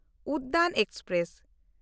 Udyan express